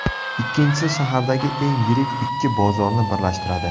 Ikkinchisi shahardagi eng yirik ikki bozorni birlashtiradi.